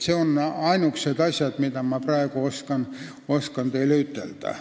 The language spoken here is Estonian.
Need on ainukesed asjad, mida ma praegu oskan teile ütelda.